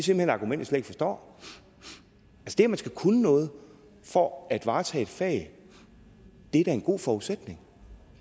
hen et argument jeg ikke forstår det at man skal kunne noget for at varetage et fag er da en god forudsætning